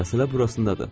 Məsələ burasındadır.